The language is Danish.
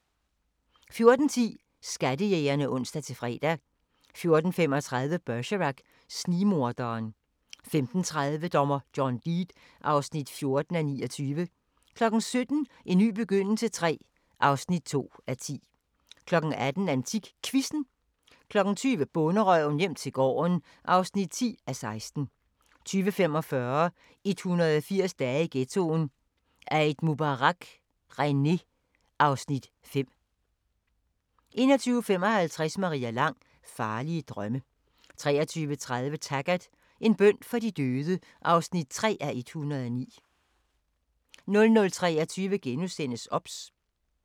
14:10: Skattejægerne (ons-fre) 14:35: Bergerac: Snigmorderen 15:30: Dommer John Deed (14:29) 17:00: En ny begyndelse III (2:10) 18:00: AntikQuizzen 20:00: Bonderøven - hjem til gården (10:16) 20:45: 180 dage i ghettoen: Eid Mubarak, René (Afs. 5) 21:55: Maria Lang: Farlige drømme 23:30: Taggart: En bøn for de døde (3:109) 00:23: OBS *